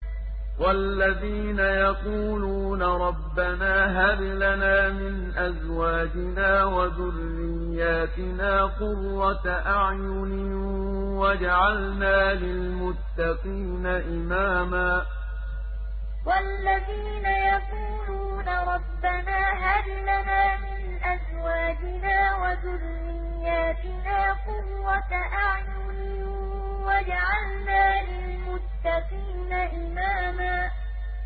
وَالَّذِينَ يَقُولُونَ رَبَّنَا هَبْ لَنَا مِنْ أَزْوَاجِنَا وَذُرِّيَّاتِنَا قُرَّةَ أَعْيُنٍ وَاجْعَلْنَا لِلْمُتَّقِينَ إِمَامًا وَالَّذِينَ يَقُولُونَ رَبَّنَا هَبْ لَنَا مِنْ أَزْوَاجِنَا وَذُرِّيَّاتِنَا قُرَّةَ أَعْيُنٍ وَاجْعَلْنَا لِلْمُتَّقِينَ إِمَامًا